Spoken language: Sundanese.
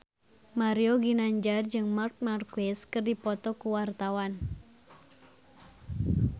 Mario Ginanjar jeung Marc Marquez keur dipoto ku wartawan